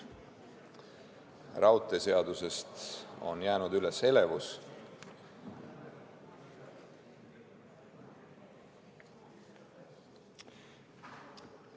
Raudteeseadusest on saali elevus jäänud ...